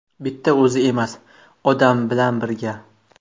Bitta o‘zi emas, odamlar bilan birga.